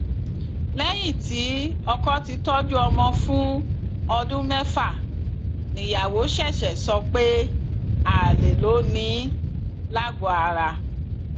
lẹyìn tí ọkọ ti tọjú ọmọ fún ọdún mẹfà níyàwó ṣẹṣẹ sọ pé alẹ ló ní in lagoara